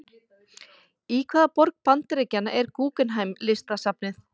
Í hvaða borg Bandaríkjanna er Guggenheim-listasafnið?